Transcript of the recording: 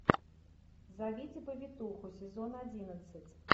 зовите повитуху сезон одиннадцать